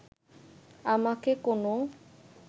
আমাকে কোনো